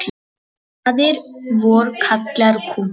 Faðir vor kallar kútinn.